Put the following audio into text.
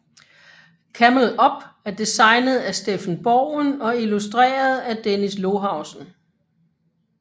Camel Up er designet af Steffen Bogen og illustreret af Dennis Lohausen